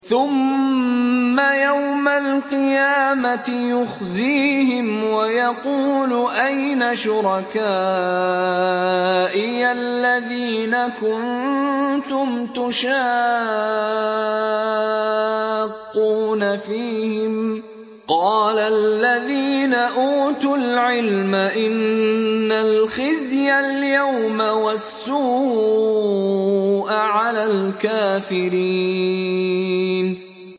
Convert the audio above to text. ثُمَّ يَوْمَ الْقِيَامَةِ يُخْزِيهِمْ وَيَقُولُ أَيْنَ شُرَكَائِيَ الَّذِينَ كُنتُمْ تُشَاقُّونَ فِيهِمْ ۚ قَالَ الَّذِينَ أُوتُوا الْعِلْمَ إِنَّ الْخِزْيَ الْيَوْمَ وَالسُّوءَ عَلَى الْكَافِرِينَ